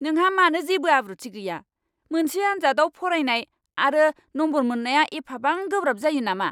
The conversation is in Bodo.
नोंहा मानो जेबो आब्रुथि गैया! मोनसे आनजादआव फरायनाय आरो नम्बर मोननाया एफाबां गोब्राब जायो नामा!